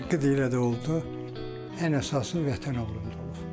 Haqqı da elə də oldu ən əsası Vətən oğlunda oldu.